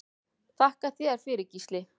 Þakka þér fyrir Gísli.